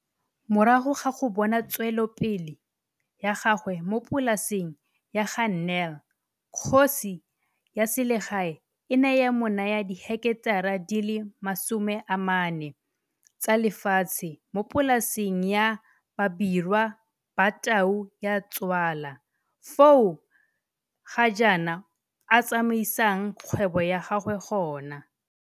Morago ga go bona tswelopele ya gagwe mo polaseng ya ga Nel kgosi ya selegae e ne ya mo naya diheketara di le 40 tsa le fatshe mo polaseng ya Babirwa Ba Tau Ya Tswala fao ga jaana a tsamaisang kgwebo ya gagwe gona.